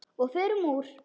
Og förum úr.